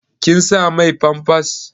Kin sa mai famfas?